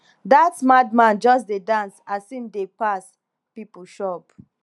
dat mad man just dey dance as im dey pass pipo shop